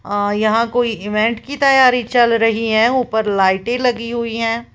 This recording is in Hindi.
और यहां कोई इवेंट की तैयारी चल रही है ऊपर लाइटें लगी हुई हैं।